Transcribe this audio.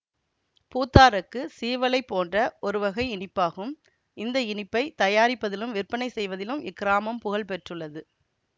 பூத்தாரெக்கு சீவலைப் போன்ற ஒருவகை இனிப்பாகும் இந்த இனிப்பை தயாரிப்பதிலும் விற்பனை செய்வதிலும் இக்கிராமம் புகழ்பெற்றுள்ளது